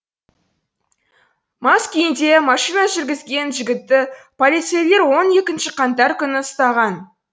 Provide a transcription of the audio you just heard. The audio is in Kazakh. мас күйінде машина жүргізген жігітті полицейлер он екінші қаңтар күні ұстаған